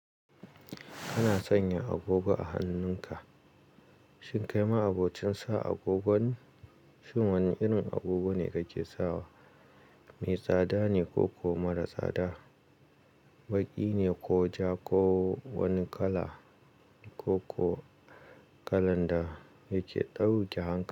Kana sanya agogo a hannun ka. Shin kai ma abocin san agogone, shin wani irin agogo ne kake sawa? Me tsada ne ko ko mara tsada? Baƙi ne ko ja ko wani kala ko ko kalan da yake ɗauke hanka.